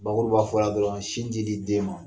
Bakuruba fɔla dɔrɔn, sin ti di den ma